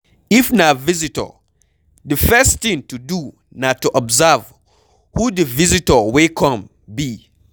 If na visitor, Di first thing to do na to observe who di visitor wey come be